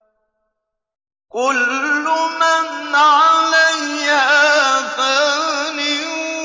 كُلُّ مَنْ عَلَيْهَا فَانٍ